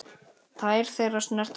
Tær þeirra snerta gólfið.